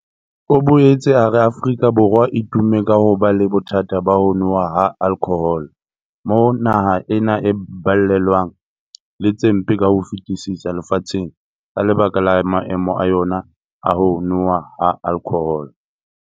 O boetse a re Afrika Borwa e tumme hampe ka ho ba le bothata ba ho nowa ha alkhohole, moo naha ena e balellwang le tse mpe ka ho fetisisa lefatsheng ka lebaka la maemo a yona a ho nowa ha alkhohole.